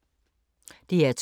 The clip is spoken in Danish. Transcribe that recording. DR2